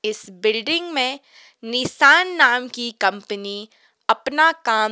इस बिल्डिंग मे निशान नाम की कंपनी अपना काम--